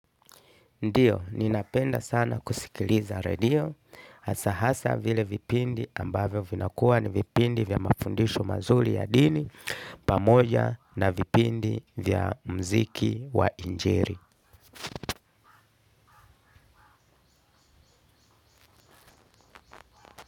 Ndiyo, ninapenda sana kusikiliza redio, hasa vile vipindi ambavyo vinakuwa ni vipindi vya mafundisho mazuri ya dini. Pamoja na vipindi vya muziki wa injili.